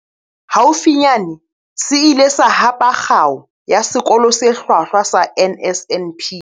Haufinyane se ile sa hapa Kgao ya Sekolo se Hlwahlwa sa NSNP.